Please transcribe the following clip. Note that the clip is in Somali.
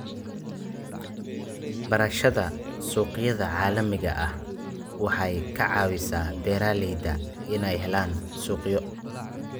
Barashada suuqyada caalamiga ah waxay ka caawisaa beeralayda inay helaan suuqyo.